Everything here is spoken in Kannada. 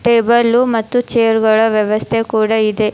ಟೇಬಲು ಮತ್ತು ಚೇರ್ ಗಳ ವ್ಯವಸ್ಥೆ ಕೂಡ ಇದೆ.